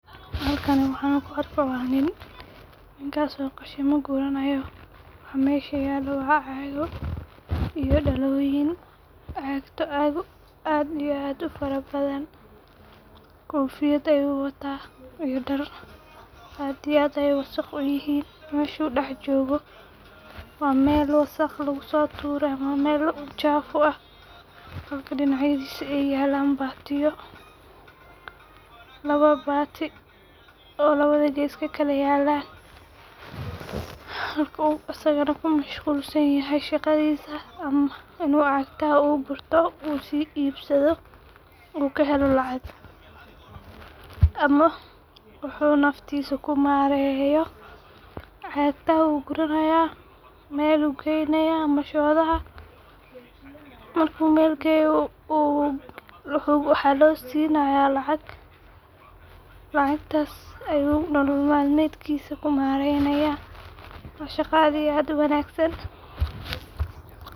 Halkan. waxan ku argahayo wa nin ninkaso. oo ku ranayo waxaa masha yalo waa Cago iyo daloyin cagato aad iyo ufarabadan koo fiyada ayu watah iyo dar aad iyo aad ayay wasaq uu yihin. mashu dax jogah wa mal wasaqa lagu sotuuroh ama waa mal chafu ah oo ah halka dinac yadiso ayalan batiyo lawo bati oo lawada gaas kaa kalayalaan asagan nah kuu mashqusanyahay shaqadisa inu cagataha oo guurtoh uu siibsadoh ugahalo lacag ama wuxu naftisa ku mariyoh cagatah ugu ranayoh mal ayu gaynayah. mashoda ah marku mal gayoh Waxa loo sinaya lacag lacagtas ayu malmalatad. kiisa ku maraynayah waa shaqo aad iyo aad uu wagsan.